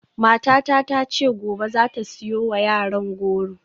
Matata ta ce gobe za ta siyo wa yaran goro.